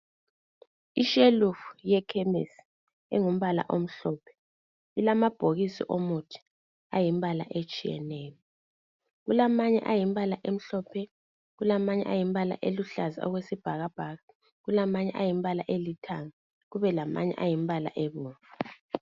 Ishelufu yekhemisi engumbala omhlophe ilamabhokisi omuthi ayimbala etshiyeneyo kulamanye ayimbala emhlophe kulamanye ayimbala eluhlaza okwesibhakabhaka kulamanye ayimbala elithanga kube lamanye ayimbala ebomvu